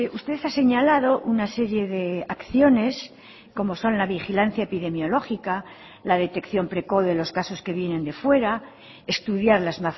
usted ha señalado una serie de acciones como son la vigilancia epidemiológica la detección precoz de los casos que vienen de fuera estudiar las